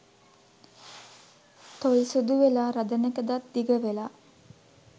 තොල් සුදු වෙලා රදනක දත් දිග වෙලා